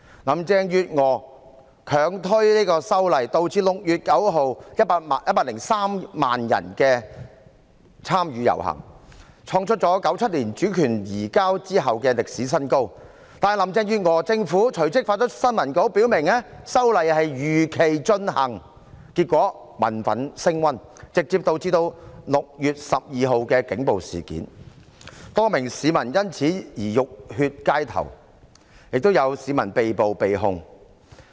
林鄭月娥強推修例，導致6月9日103萬人參與遊行，創出自1997年主權移交後的歷史新高，但林鄭月娥政府隨即發出新聞稿表明修例會如期進行，結果民憤升溫，直接導致6月12日的警暴事件，多名市民因此浴血街頭，亦有市民被捕、被控。